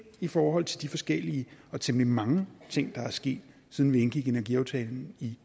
i forhold til de forskellige og temmelig mange ting der er sket siden vi indgik energiaftalen i